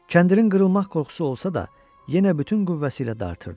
Kəndirin qırılmaq qorxusu olsa da, yenə bütün qüvvəsi ilə dartırdı.